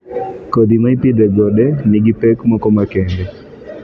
Kodhi ma ipidho e gode nigi pek moko makende.